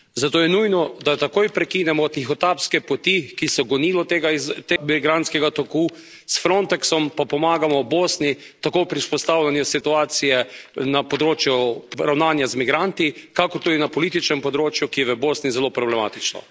Zato je nujno, da takoj prekinemo tihotapske poti, ki so gonilo tega migrantskega toku, s Frontexom pa pomagamo Bosni tako pri vzpostavljanju situacije na področju ravnanja z migranti, kakor tudi na političnem področju, ki je v Bosni zelo problematično.